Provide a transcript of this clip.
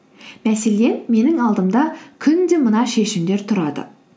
мәселен менің алдымда күнде мына шешімдер тұрады